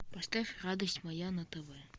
поставь радость моя на тв